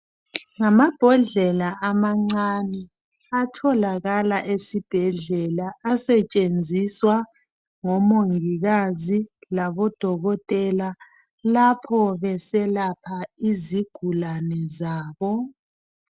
Ngamabhodlela amancane atholakala esibhedlela asetshenziswa ngomongikazi labodokotela lapho beselapha izigulane zabo